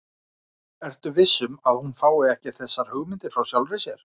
Ertu viss um, að hún fái ekki þessar hugmyndir frá sjálfri þér?